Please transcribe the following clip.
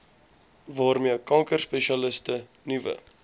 waarmee kankerspesialiste nuwe